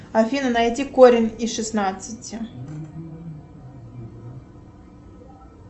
афина найди корень из шестнадцати